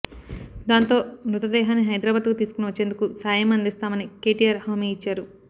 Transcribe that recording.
దాంతో మృతదేహాన్ని హైదరాబాదుకు తీసుకుని వచ్చేందుకు సాయం అందిస్తామని కేటీఆర్ హామీ ఇచ్చారు